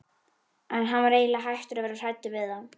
En hann var eiginlega hættur að vera hræddur við þá.